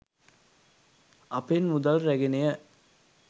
අපෙන් මුදල් රැගෙනය.